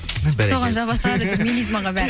бәрекелді соған жаба салады әйтеу мелизмаға бәрі